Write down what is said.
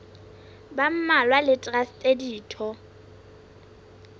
ba mmalwa le traste ditho